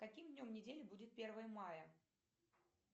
каким днем недели будет первое мая